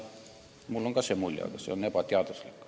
Mul on ka selline mulje, aga see on ebateaduslik.